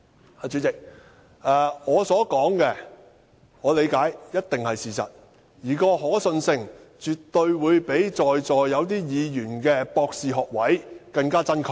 代理主席，我所說的，據我理解，一定是事實，而可信性絕對會比在座有些議員的博士學位更真確。